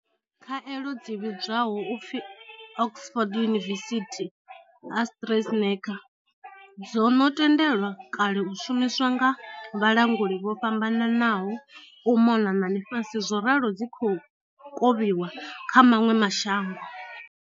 Khaelo dzi vhidzwaho u pfi Oxford University Astrazeneca dzo no tendelwa kale u shumiswa nga vhalanguli vho fhambananaho u mona na ḽifhasi zworalo dzi khou kovhiwa kha maṅwe ma shango.